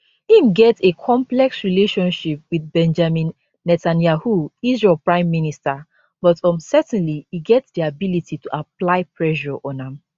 im get a complex relationship with benjamin netanyahu israel prime minister but um certainly e get di ability to apply pressure on am